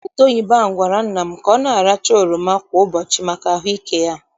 Dọkịta oyibo ahụ gwara nna m ka ọ na- aracha oroma kwa ụbọchị maka ahụike ya.